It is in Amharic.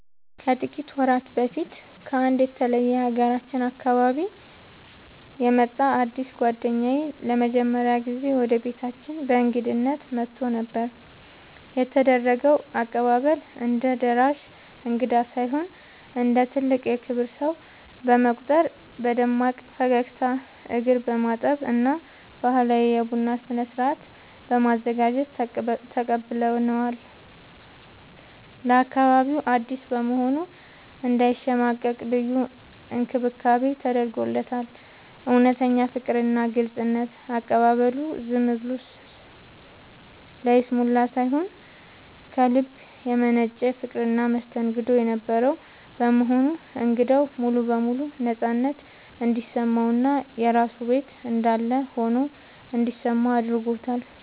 ከጥቂት ወራት በፊት ከአንድ የተለየ የሀገራችን አካባቢ የመጣ አዲስ ጓደኛዬ ለመጀመሪያ ጊዜ ወደ ቤታችን በእንግድነት መጥቶ ነበር። የተደረገው አቀባበል፦ እንደ ደራሽ እንግዳ ሳይሆን እንደ ትልቅ የክብር ሰው በመቁጠር በደማቅ ፈገግታ፣ እግር በማጠብ እና ባህላዊ የቡና ስነ-ስርዓት በማዘጋጀት ተቀብለነዋል። ለአካባቢው አዲስ በመሆኑ እንዳይሸማቀቅ ልዩ እንክብካቤ ተደርጎለታል። እውነተኛ ፍቅርና ግልጽነት፦ አቀባበሉ ዝም ብሎ ለይስሙላ ሳይሆን ከልብ የመነጨ ፍቅርና መስተንግዶ የነበረው በመሆኑ እንግዳው ሙሉ በሙሉ ነፃነት እንዲሰማውና የራሱ ቤት እንዳለ ሆኖ እንዲሰማው አድርጎታል።